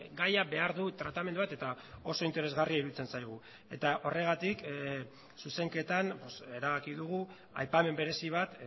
gaia behar du tratamendu bat eta oso interesgarria iruditzen zaigu eta horregatik zuzenketan erabaki dugu aipamen berezi bat